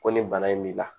Ko nin bana in b'i la